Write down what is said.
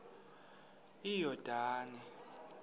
yordane